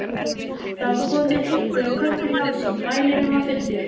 Það var kominn einhver kökkur í hálsinn, mælirinn var fullur.